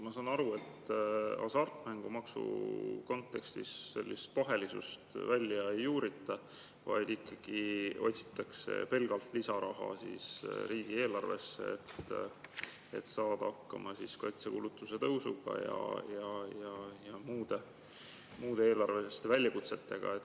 Ma saan aru, et hasartmängumaksu kontekstis pahelisust välja ei juurita, vaid ikkagi otsitakse pelgalt lisaraha riigieelarvesse, et saada hakkama kaitsekulutuste tõusuga ja muude eelarveliste väljakutsetega.